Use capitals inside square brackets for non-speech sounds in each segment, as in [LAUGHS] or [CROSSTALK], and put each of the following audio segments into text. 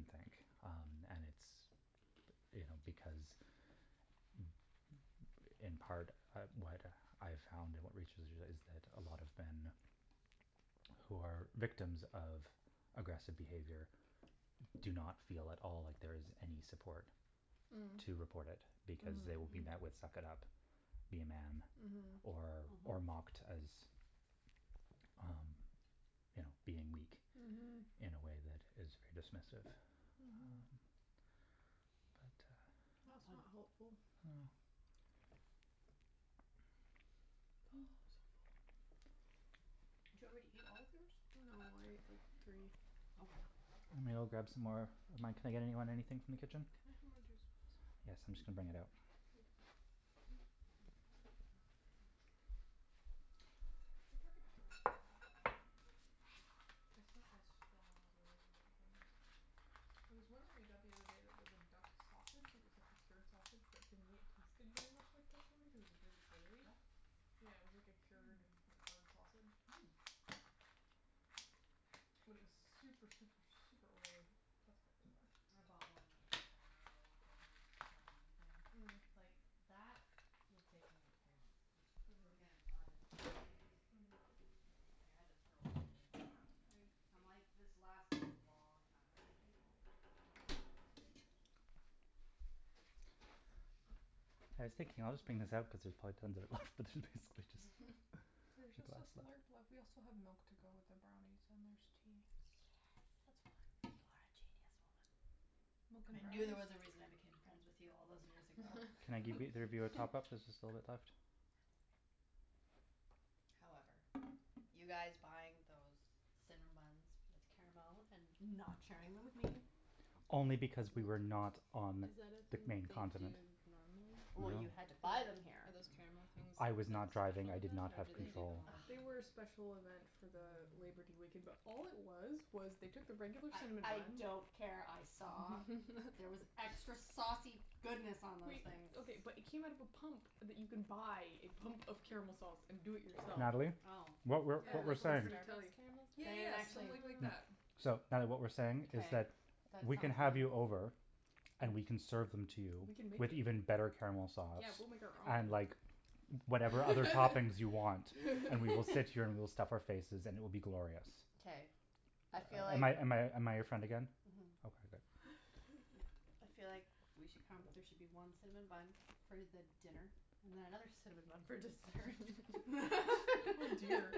think. And it's, you know, because in part, what I found in research is that a lot of men who are victims of aggressive behavior do not feel at all like there is any support to report it because they will be met with "suck it up", "be a man" or or mocked as um you know being weak in a way that is very dismissive. Mhm. But uh. That's not helpful. Oh, I'm so full. Did you already eat all of yours? No, I ate like three. Okay. I'm going to go grab some more of mine. Can I get anybody anything from the Can kitchen? I have more juice, please? Yes, I'm just going to bring it out. Thank you. The turkey pepperoni's not bad. Mm. It's not as strong as a regular pepperoni. There was one that we got the other day that was a duck sausage, it was like a cured sausage, but to me it tasted very much like pepperoni cuz it was really oily. Duck Yeah, it was sausage? like a cured Mm. like hard sausage. Mm. But it was super, super, super oily. That's probably why. I bought one that was like a merlot flavored salami thing. Mm. It's like that would take me like three months to eat cuz again, not into salty things. Mm. Like, I had to throw out this much of it. I'm I like ate. this lasted a long time. I ate all the turkey, all the duck sausage. I never had duck sausage. I was thinking I'll just bring this out cuz there's probably tons of it left, but there's basically There's just a just a glass left. slurp left. We also have milk to go with the brownies, and there's tea. That's Yes. fine. You are a genius, woman. Mocha and I knew there brownies. was a reason I became friends with you all those years ago. Can I give either of you a top up? There's just a bit left. However, you guys buying those cinnamon buns with caramel and not sharing them with me. Only because we were not on Is that a the thing that main they do continent. normally? Well, you had to Like, buy them are here. those caramel things I like a was not driving. special I did event not or have do they do them control. all the They were a time? special event for the Labour Day weekend, but all it was was they took the regular cinnamon I buns. don't care, I saw. There was extra saucy goodness on those Wait, things. okay, but it came out of a pump that you can buy, a pump of caramel sauce, and do it yourself. Natalie, Oh, what we're Oh, what we're like saying. really? Starbucks caramel Yeah, style? They didn't yeah, just actually. like that. So, Natalie, what we're saying is Okay, that that sounds we can have you right. over. And we can serve them to you. We can make With them. even better caramel sauce. Yeah, we'll make our And own. like whatever other toppings you want and we will sit here and we'll stuff our faces and it will be glorious. Okay, I feel Am like. I am I am I your friend again? Mhm. Okay, good. I feel like we should come, there should be one cinnamon bun for the dinner and then another cinnamon bun for dessert. [LAUGHS] Oh dear.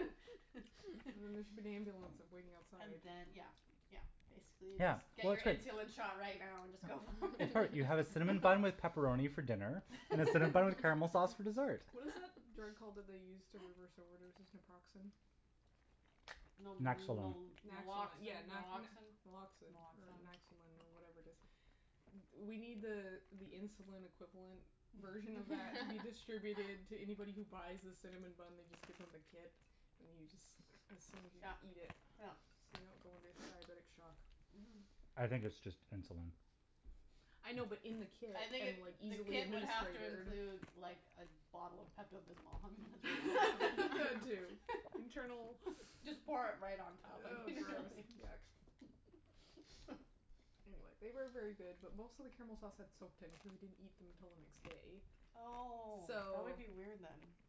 There should be an ambulance waiting outside. And then, yeah, yeah, basically Yeah, just. Get well, your it's good. insulin shot right now and just go for it. You have a cinnamon bun with pepperoni for dinner and a cinnamon bun with caramel sauce for dessert. What is the drug called that they use to reverse overdoses? Naproxen? Naxolone. Naxalone, yeah. yeah, Naloxin, Naloxin. Naloxin or Naxolin or whatever it is. We need the uh the insulin equivalent version of that to be distributed to anybody who buys the cinnamon bun. They just give them the kit and you just assume you Yeah, eat it. yeah. So you don't go into diabetic shock. Mhm. I think it's just insulin. I know, but in the kit I think and, like, the easily kit would have to administered. include like a bottle of Pepto Bismol. [LAUGHS] Too. Internal. Just pour it right on top. Oh, gross, yuck. Anyway, they were very good, but most of the caramel sauce had soaked in cuz we didn't eat them until the next day. Oh, that would So.Yeah, be it was. weird then.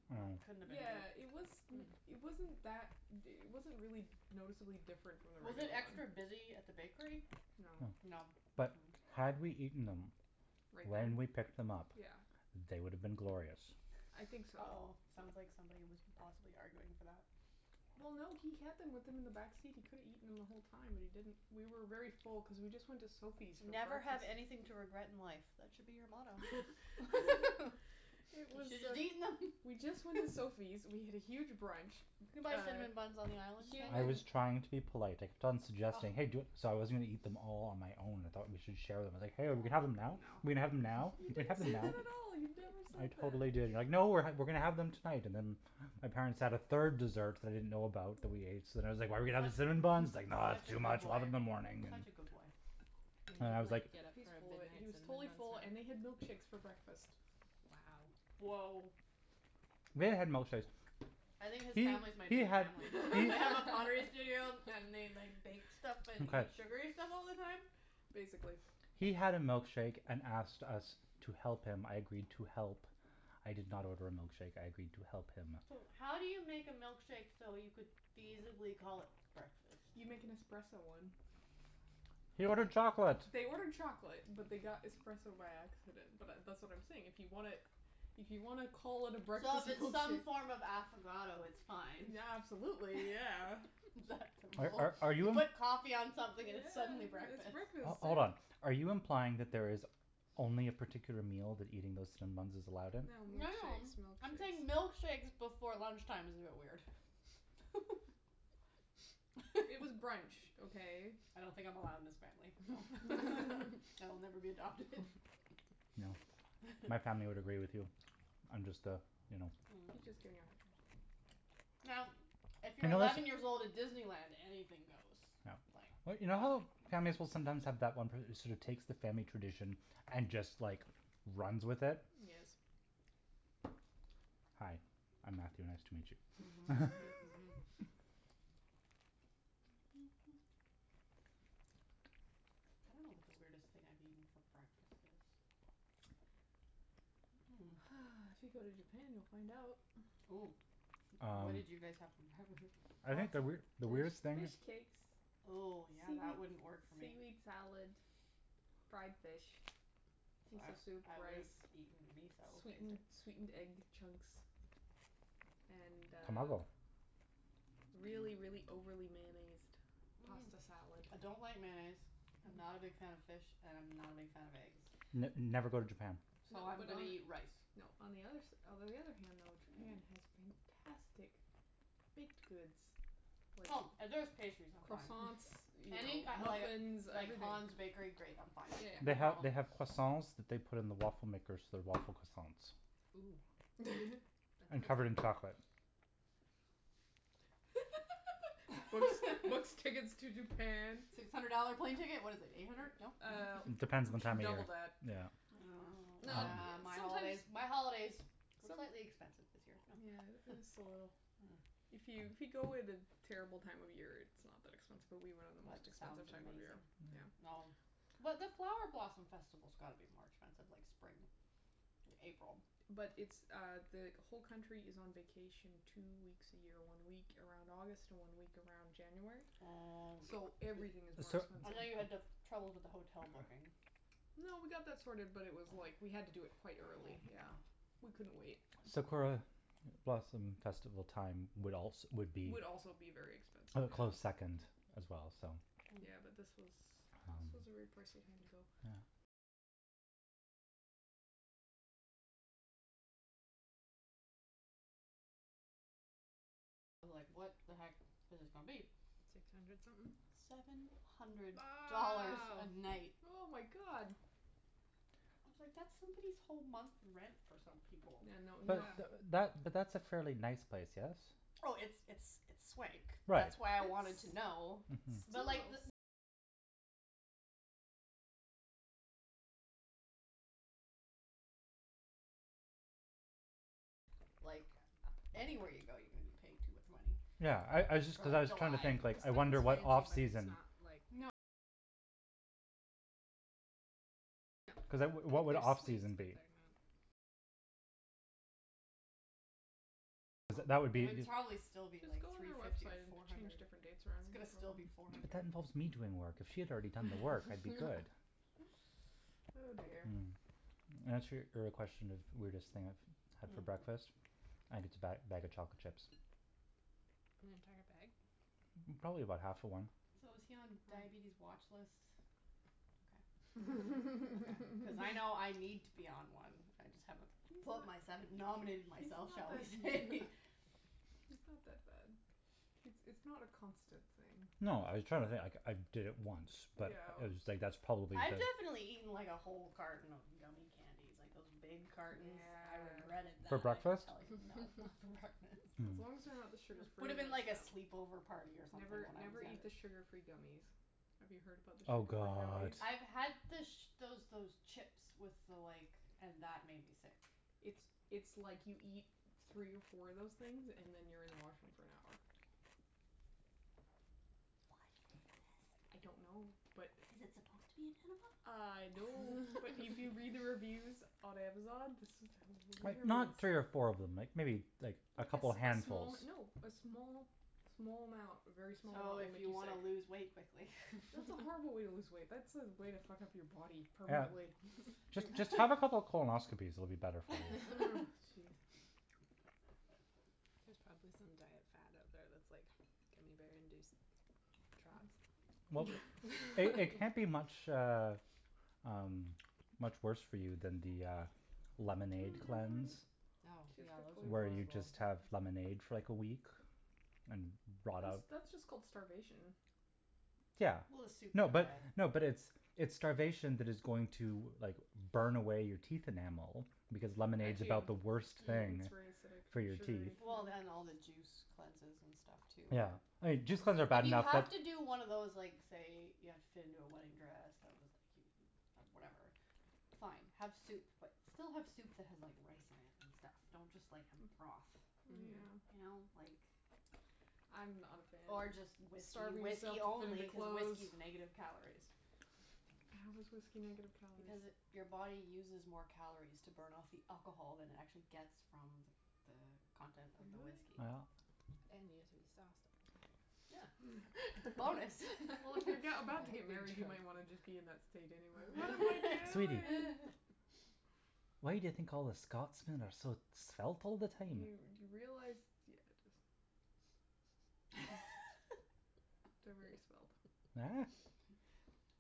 It wasn't that, it wasn't really noticeably different from the Was regular it one. extra busy at the bakery? No. No, but had we eaten them. Right When then? we picked them up. Yeah. They would have been glorious. I think so. Oh, sounds like somebody was possibly arguing for that. Well, no, he had them with him in the back seat. He could've eaten them the whole time, but he didn't. We were very full because we just went to Sophie's for Never have breakfast. anything to regret in life, that should be your motto. [LAUGHS] You should have just eaten them. We just went to Sophie's. We had a huge brunch. You can buy cinnamon buns on the island, can't I you? was trying to be polite. I kept on suggesting hey do- So I was going to eat them all on my own. I thought we should share them. I was like, hey, are we going to have them now? Are we going to have them now? You didn't say that at all. You never I said that. totally did you were like, no, we're going to have them tonight. And then my parents had a third dessert that I didn't know about that we ate, so then I was like, are we going to have the cinnamon buns? It's Such a like, no, it's too good much, we'll have them in the boy, morning. such a good boy. You didn't get up He's for a full of it. He midnight was totally cinnamon full, bun and we had snack? milkshakes for breakfast. Wow. Woah. We had milkshakes. I think his family's my new family. They have a pottery studio and they like bake stuff and eat sugary stuff all the time? Basically. He had a milkshake and asked us to help him, I agreed to help. I did not order a milkshake, I agreed to help him. So, how do you make a milkshake so you could feasibly call it breakfast? You make an espresso one. He ordered chocolate. They ordered chocolate, but they got espresso by accident. But that's what I'm saying. If you want to, if you want to call it a So breakfast if it's some milkshake. form of affogato, it's fine. Yeah, absolutely, yeah. Are are You you? put coffee on something and it's suddenly Yeah, it's breakfast. breakfast, Hold on, yeah. are you implying that there is only a particular meal that eating those cinnamon buns is allowed in? No, No, no, milkshakes, I'm saying milkshakes. milkshakes before lunch time is a bit weird. [LAUGHS] It was brunch, okay? I don't think I'm allowed in this family. [LAUGHS] So I'll never be adopted. [LAUGHS] No. My family would agree with you. I'm just the, you know. I'm just giving you a hard time. Now, if you're eleven years old at Disneyland, anything goes. Yeah. Like. But you know how families will sometimes have that one person who sort of takes the family tradition and just, like, runs with it. Yes. Hi, I'm Matthew. Nice to meet you. Mhm, Mhm, Mhm. I don't know what the weirdest thing I've eaten for breakfast is. If you go to Japan, you'll find out. Oh, what did you guys have for breakfast? I think the weird the There's weirdest thing. fish cakes. Oh, yeah, that wouldn't Seaweed work for seaweed me. salad, fried fish, I miso soup, I would rice. have eaten miso, Sweetened sweetened egg basically. chunks and uh. Tomago. Really, really overly mayonnaised pasta salad. I don't like mayonnaise, I'm not a big fan of fish and I'm not a big fan of eggs. N never go to Japan. So I'm going to eat rice. No, on the other s- Although, on the other hand though, Japan has fantastic baked goods. Oh, if there's pastries, I'm fine. Croissants, you know, Any muffins, like everything. Hans bakery, great, I'm fine. They have, they have croissants that they put in the waffle makers so they're waffle croissants. Ooh. And covered in chocolate. What's what's [LAUGHS] tickets to Japan? Six hundred dollar plane ticket. What is it, eight hundred? No? Uh, It depends on the time double of that. year. Yeah. Oh, yeah, my holidays, my holidays were slightly expensive this year. Yeah, just a little. If you if you go at a terrible time of year, it's not that expensive, but we went on the most That expensive sounds time of the year. amazing. Well. But the flower blossom festival's got to be more expensive, like, spring, April. But it's uh the whole country is on vacation two weeks a year, one week around August, one week around January. Oh. So everything is more I know you had expensive. trouble with the hotel booking. No, we got that sorted, but it was like we had to do it quite early, yeah, we couldn't wait. Sakura blossom festival time would also would be. Would also be very expensive. A close second as well, so. Yeah, but this was this was a very pricey time to go. I was like, what the heck is this going to be? Six hundred something? Seven hundred Wow, dollars a night. oh, my God. I was like, that's somebody's whole month rent for some people. Yeah, no. But that but that's a fairly nice place, yes? Oh, it's it's it's swank. Right, That's why I wanted to know. Mhm. Like, anywhere you go, you're going to be paying too much money. Yeah, I I just cuz I was trying to think, like, It sounds I fancy wonder what off but it's season. not, like. Like, there's suites, but they're not. Cuz that would be. It would probably still be Just like go on three their fifty, website and four change hundred. different dates around. But that involves me doing work. If she had already done the work, I'd be good. [LAUGHS] Oh, dear. Mm. In answer your question of weirdest thing I've had for breakfast, I think it's a bag bag of chocolate chips. An entire bag? Probably about half of one. So is he on diabetes watch lists? Okay. [LAUGHS] Cuz I know I need to be on one. I just haven't put myself, He's not nominated that- He's myself, not shall we that say. he's not that bad. It's it's not a constant thing. No, I was trying to think. Like, I did it once, but it Ew. was like that's probably I've it. definitely eaten, like, a whole carton of gummie candies, like those big cartons. I Yeah. regretted For that, I can breakfast? tell you. No, not for breakfast. As long as they're not the It sugar free would have ones, been like a though. sleepover party or something Never, when I was never eat the younger. sugar free gummies. Have you heard about the Oh, sugar free god. gummies? I've had the those those chips with the like and that made me sick. It's it's like you eat three or four of those things and then you're in the washroom for an hour. Why do I they exist? don't know, but. Is it supposed to be an enema? I know, but if you read the reviews on Amazon. Like, I'm not curious. three or four of them, like like maybe a Like a couple of small. handfuls. No, a small, small amount, a very small amount So will if make you you want sick. to lose weight quickly. That's a horrible way to lose weight. That's a way to fuck up your body Yeah. permanently. Just have a couple of colonoscopies, it'll be better for you. Jeez. There's probably some diet fad out there that's like gummie bear induced trots. Well, they can't be much uh um much worse for you than the uh lemonade cleanse. Oh, Where yeah, you those just have are horrible. lemonade for like a week and rot out. That's just called starvation. Yeah. Well, a soup No but, diet. no, but it's it's starvation that is going to like burn away your teeth enamel because lemonade's about the worst thing It's very acidic for and your teeth. sugary. Well, and all the juice cleanses and stuff too. Yeah, juice cleanses are bad If you enough have but. to do one of those like say you have to fit into a wedding dress that was like whatever, fine, have soup, but still have soup that has rice in it and stuff. Don't just like have a broth. Yeah. You know, like. I'm not a fan Or of just whiskey, starving myself whiskey to fit only into because clothes. whiskey is negative calories. How is whiskey negative calories? Because it your body uses more calories to burn off the alcohol than it actually gets from the the content of the Really? whiskey. Yeah. And you get to be sauced all the time. Yeah. Bonus. Well, if you're about to get married, you might want to just be in that state anyway. Sweetie. Why do you think all the Scotsmen are so svelt all the Do time? you realize, yeah, just [LAUGHS] They're very svelt.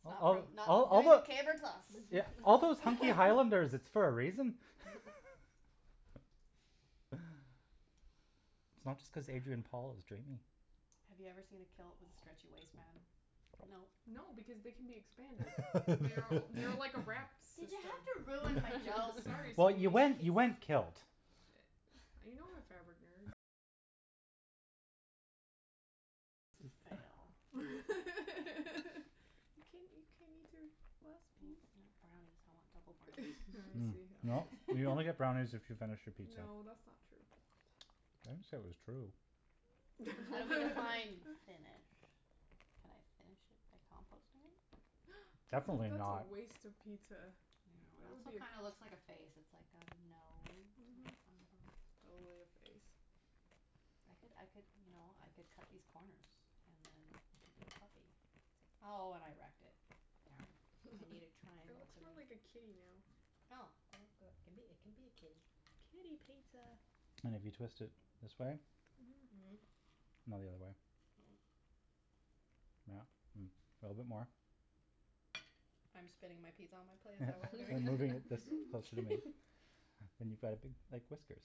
It's not it's not like a caber toss. Yeah, all those hunky highlanders, it's for a reason. [LAUGHS] It's not just cuz Adrian Paul is dreamy. Have you ever seen a kilt with a stretchy waistband? No. No, because they can be expanded. They're they're like a wrap Did you system. have to ruin my joke? Sorry, Well, sweetie. you went you went kilt. I know, fabric nerd. It's a fail. You can't you can't eat your last No. piece? Brownies, I want double brownies. Well, you only get brownies if you finish your pizza. No, that's not true. [NOISE] I didn't say it was true. Well, define finish. Can I finish it by composting it? That's a Definitely that's a not. waste of pizza. It That would be also a. kind of looks like a face. It's like got a nose. Mhm. Totally a face. I could I could, you know, I could cut these corners and then it could be a puppy. See? Oh, and I wrecked it. Darn. I need a It triangle. looks more like a kitty now. Oh, well, good. It can it can be a kitty. Kitty pizza. And if you twist it this way. Mhm. Mhm. No, the other way. Yeah. A little bit more. I'm spinning my pizza on my plate, is that what we're You're doing? moving this closer to me. And you've got a big, like, whiskers